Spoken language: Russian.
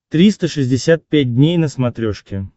триста шестьдесят пять дней на смотрешке